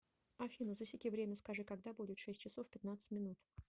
афина засеки время скажи когда будет шесть часов пятнадцать минут